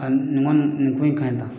nin ko in ka ɲi tan.